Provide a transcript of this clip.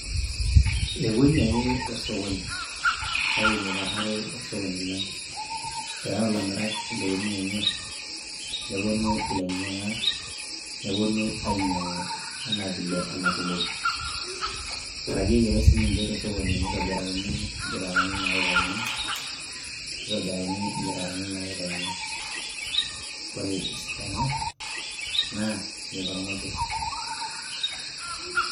Ewuei ake osokoni kake mikararo osokoni lang. Eyau ilamirak intokitin enye , neponu ilainyiangak , neponu ainyiangu anaa vile ena tumoki. Iragieki ake sinche tosokoni nitobirakini kintarani naikakini . Ore esidano naa meikormojae.